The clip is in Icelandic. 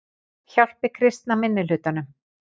Hjálpi kristna minnihlutanum